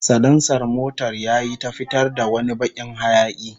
Salansar motar yayi ta fitar da wani bakin hayaki